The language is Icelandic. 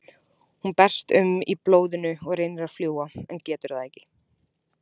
Hún berst um í blóðinu og reynir að fljúga en getur það ekki.